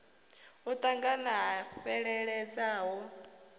u ṱangana ha fheleledza ho